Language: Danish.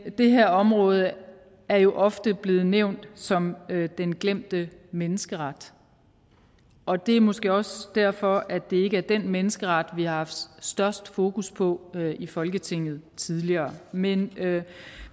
det her område er jo ofte blevet nævnt som den glemte menneskeret og det er måske også derfor at det ikke er den menneskeret vi har haft størst fokus på i folketinget tidligere men